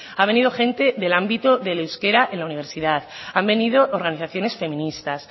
ha venido gente del ámbito del euskera en la universidad han venido organizaciones feministas